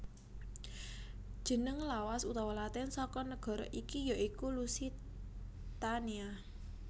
Jeneng lawas utawa latin saka nagara iki ya iku Lusitania